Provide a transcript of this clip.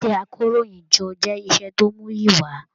Iṣẹ àkòróyinjọ́ jẹ iṣẹ tó muyi wà.